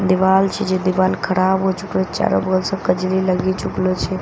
दीवाल छे जे दीवाल खराब हो चुकल चारो बगल से कजरी लगी चुकलो छे। बगल--